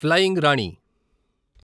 flying Rani